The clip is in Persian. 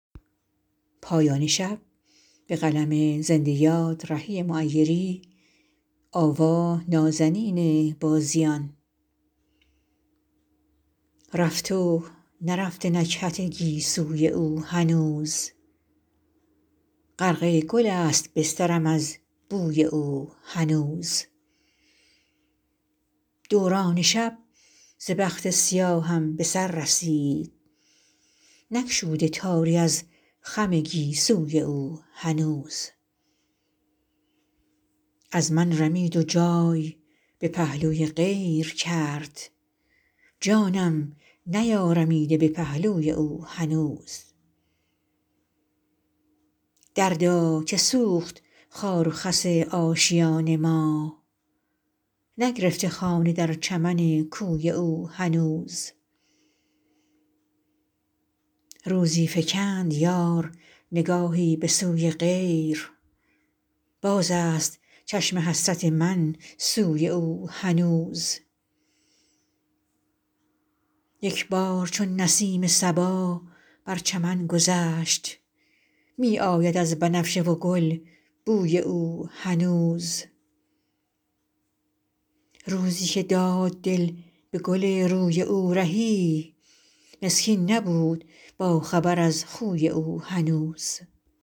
رفت و نرفته نکهت گیسوی او هنوز غرق گل است بسترم از بوی او هنوز دوران شب ز بخت سیاهم به سر رسید نگشوده تاری از خم گیسوی او هنوز از من رمید و جای به پهلوی غیر کرد جانم نیارمیده به پهلوی او هنوز دردا که سوخت خار و خس آشیان ما نگرفته خانه در چمن کوی او هنوز روزی فکند یار نگاهی به سوی غیر باز است چشم حسرت من سوی او هنوز یک بار چون نسیم صبا بر چمن گذشت می آید از بنفشه و گل بوی او هنوز روزی که داد دل به گل روی او رهی مسکین نبود باخبر از خوی او هنوز